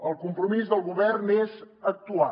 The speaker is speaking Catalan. el compromís del govern és actuar